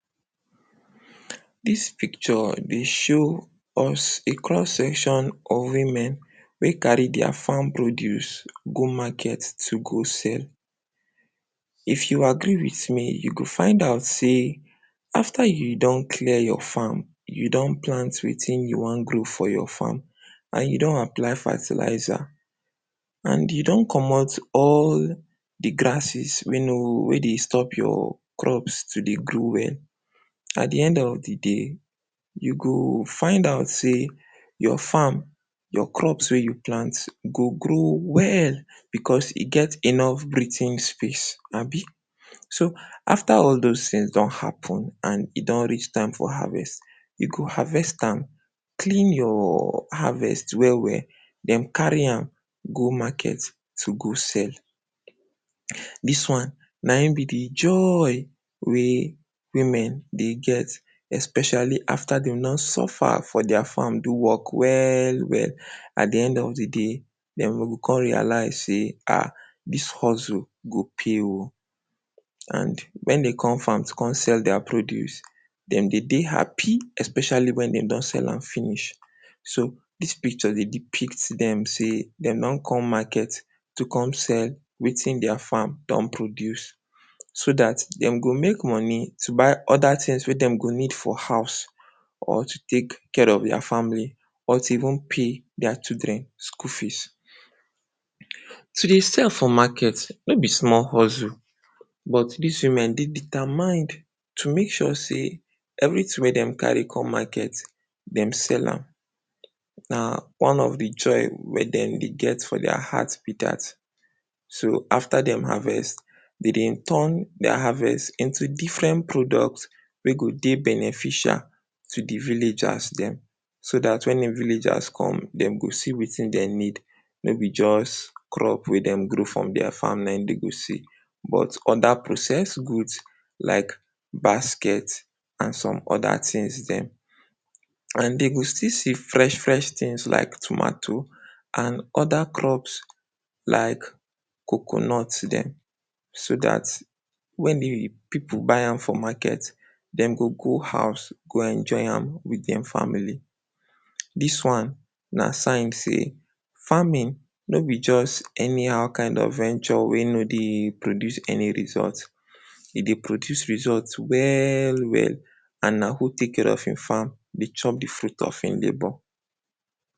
Dis picture dey show us a cross section of women wey carry dia farm produce go market to go sell. If you agree wit me, you go find out sey after you don clear your farm, you don plant wetin you wan grow for your farm and you don apply fertilizer and you don comot all di grasses wey no, wey dey stop your crops to dey grow well. At di end of di day, you go find out sey your farm, your crops wey you plant go grow well, because e get enough breating space, abi? So, after all dose tins don happen and e don reach time for harvest, you go harvest am, clean your harvest well well, den carry am go market to go sell. Dis one naim be di joy wey women dey get especially after den don suffer for dia farm do work well well, at di end of di day, den o kon realise sey, ah, dis hustle go pay o. and when den come farm to come sell dia produce, dem dey dey happy especially when dem don sell am finish. So, dis picture dey depict dem sey, dem don come market to come sell wetin dia farm don produce, so dat dem go make money to buy oda tins wey dem go need for house or to take care of dia family or to even pay dia children school fees. To dey sell for market, no be small hustle, but dis women dey determine to make sure sey everytin wey den carry come market dem sell am, na one of di joy mek dem dey get for dia heart be dat. So, after dem harvest, den dey turn dia harvest into differen product wey go dey beneficial to di villagers dem, so dat when di villagers come, dem go see wetin den need, no be just crop wey dem grow for dia farm nai dem go see. But oda processed goods like basket and some oda tins den, and den go still see fresh fresh tins like tomato and oda crops like coconut den, so dat when dey pipu buy am for market, dem go go house go enjoy am wit dia family. Dis one na sign sey farming no be just anyhow kind of venture wey no dey produce any result, e dey produce result well well and na who take care of im farm, dey chop di fruit of e labour.